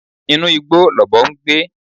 Inú igbó lọ̀bọ ń gbé